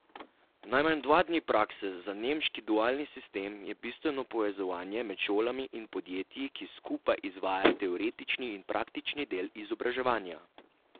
Najmanj dva dni prakse Za nemški dualni sistem je bistveno povezovanje med šolami in podjetji, ki skupaj izvajajo teoretični in praktični del izobraževanja.